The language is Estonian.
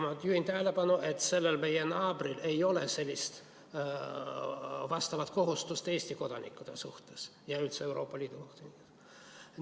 Ma juhin tähelepanu, et sellel meie naabril ei ole sellist vastavat kohustust Eesti kodanike suhtes ja üldse Euroopa Liidu kodanike suhtes.